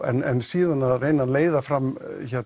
en síðan leiða fram